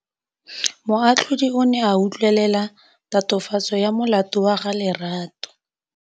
Moatlhodi o ne a utlwelela tatofatsô ya molato wa Lerato.